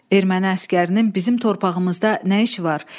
Erməni əsgərinin bizim torpağımızda nə işi var?